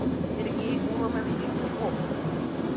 сергей гуломович бычков